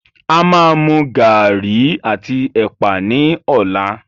A máa mú garri àti ẹ̀pà ni ọ̀la.